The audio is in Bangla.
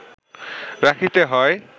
রাখিতে হয়